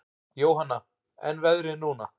Jóhanna: En veðrið núna?